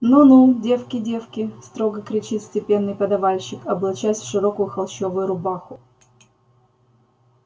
ну ну девки девки строго кричит степенный подавальщик облачаясь в широкую холщовую рубаху